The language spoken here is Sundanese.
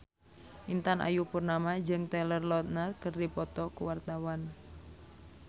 Intan Ayu Purnama jeung Taylor Lautner keur dipoto ku wartawan